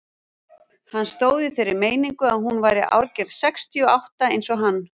Hann stóð í þeirri meiningu að hún væri árgerð sextíu og átta eins og hann.